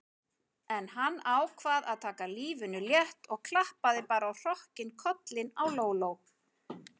En hann ákvað að taka lífinu létt og klappaði bara á hrokkinn kollinn á Lóló.